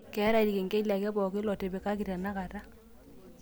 keetae ilkengeli ake pooki lotipikaki tenakata